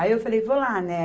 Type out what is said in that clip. Aí eu falei, vou lá, né?